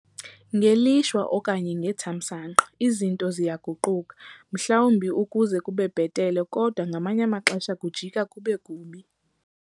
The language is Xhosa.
Ngelishwa, okanye ngethamsanqa izinto ziyaguquka - mhlawumbi ukuze kube bhetele, kodwa ngamanye amaxesha kujika kube kubi.